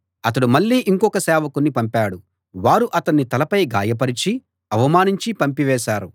అతడు మళ్ళీ ఇంకొక సేవకుణ్ణి పంపాడు వారు అతని తలపై గాయపరచి అవమానించి పంపివేశారు